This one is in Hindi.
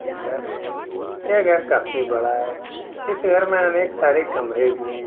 ये घर है। यह घर काफी बड़ा है। इस घर मे अनेक सारे कमरे भी है।